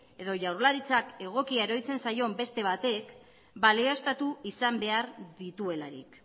edo jaurlaritzak egokia iruditzen zaion beste batek balioztatu izan behar dituelarik